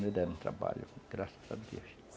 me deram trabalho, graças a Deus.